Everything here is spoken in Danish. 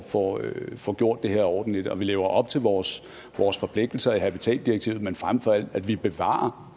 får får gjort det her ordentligt og at vi lever op til vores vores forpligtelser i habitatdirektivet men frem for alt at vi bevarer